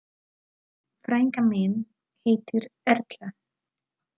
Frænka mín heitir Erla.